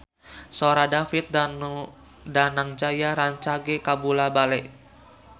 Sora David Danu Danangjaya rancage kabula-bale